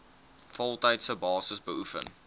voltydse basis beoefen